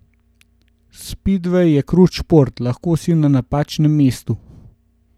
Spidvej je krut šport, lahko si na napačnem mestu ...